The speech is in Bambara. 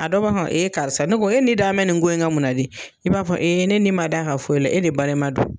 A dɔ e karisa ne ko e ni da n bɛ nin ko in kan mun na de i b'a fɔ ne ni man da kan foyi la e de balima do.